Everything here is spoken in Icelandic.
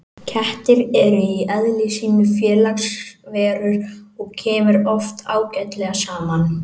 Kettir eru í eðli sínu félagsverur og kemur oft ágætlega saman.